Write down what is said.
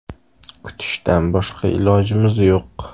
Kutishdan boshqa ilojimiz yo‘q.